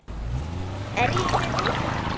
Er ég í þeim hópi.